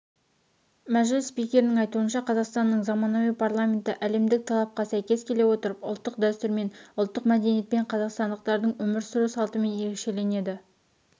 мәжіліс спикерінің айтуынша қазақстанның заманауи парламенті әлемдік талапқа сәйкес келе отырып ұлттық дәстүрмен ұлттық мәдениетпен қазақстандықтардың өмір сүру салтымен ерекшеленеді